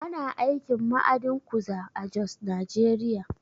Ana aikin ma'adin kuza a Jos, Najeriya